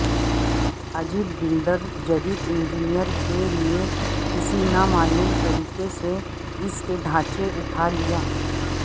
عجیب بلڈر جدید انجینئرز کے لئے کسی نامعلوم طریقے سے اس کے ڈھانچے اٹھا لیا